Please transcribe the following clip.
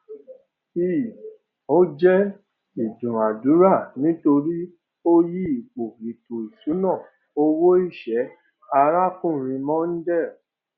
i ó jẹ ìdúnadúrà nítorí ó yí ipò ètò ìṣúná owó iṣẹ arákùnrin mondal